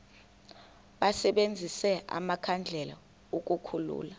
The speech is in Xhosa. basebenzise amakhandlela ukukhulula